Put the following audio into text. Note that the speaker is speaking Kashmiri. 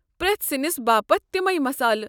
پرٮ۪تھ سِنِس باپت تمے مسالہٕ ۔